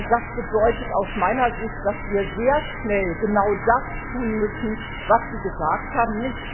Das bedeutet aus meiner Sicht, dass wir sehr schnell genau das tun müssen, was Sie gesagt haben.